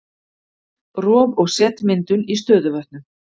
Rof og setmyndun í stöðuvötnum